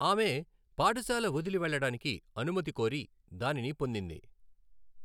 ఆమె పాఠశాల వదిలి వెళ్ళడానికి అనుమతి కోరి, దానిని పొందింది.